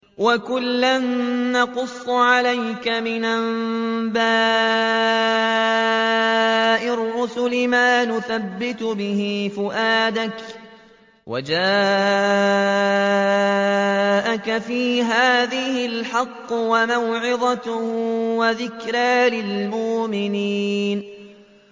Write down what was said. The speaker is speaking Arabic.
وَكُلًّا نَّقُصُّ عَلَيْكَ مِنْ أَنبَاءِ الرُّسُلِ مَا نُثَبِّتُ بِهِ فُؤَادَكَ ۚ وَجَاءَكَ فِي هَٰذِهِ الْحَقُّ وَمَوْعِظَةٌ وَذِكْرَىٰ لِلْمُؤْمِنِينَ